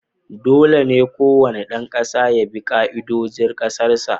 Dole ne kowane ɗan kasa ya bi ka'idojin Kasar sa